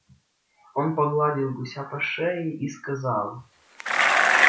он погладил гуся по шее и сказал